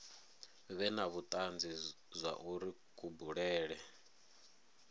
vhe na vhutanzi zwauri kubulele